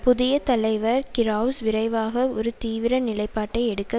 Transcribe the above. புதிய தலைவர் கிரெளஸ் விரைவாக ஒரு தீவிர நிலைப்பாட்டை எடுக்க